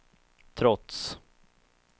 trots